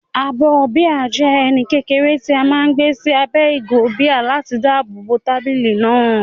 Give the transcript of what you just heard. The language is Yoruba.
Abọ́ bíà jẹ́ ẹní kékeré tí a máa ń gbé sí abẹ́ ìgò bíà láti dáàbò bo tábìlì náà.